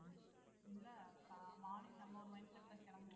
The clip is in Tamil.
இல்ல கா~ morning நம்ம ஒரு mind set ல கிளம்புவோம்